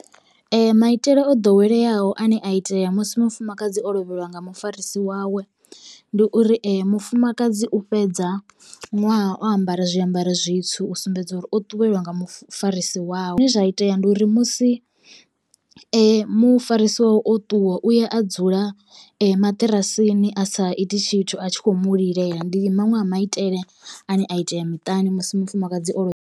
Ee maitele o ḓoweleaho ane a itea musi mufumakadzi o lovheliwa nga mufarisi wawe ndi uri mufumakadzi u fhedza ṅwaha o ambara zwiambaro zwitswu u sumbedza uri o ṱuwelwa nga mufarisi wawe. Zwine zwa itea ndi uri musi mufarisiwa wawe o ṱuwa u ya a dzula maṱirasini a sa iti tshithu a tshi kho mu lilela ndi maṅwe a maitele ane a itea miṱani musi mufumakadzi o lovha.